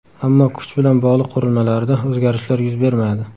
Ammo kuch bilan bog‘liq qurilmalarida o‘zgarishlar yuz bermadi.